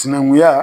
Sinankunya